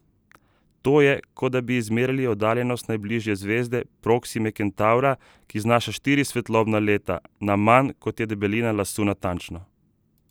To je, kot da bi izmerili oddaljenost najbližje zvezde, Proksime Kentavra, ki znaša štiri svetlobna leta, na manj, kot je debelina lasu natančno!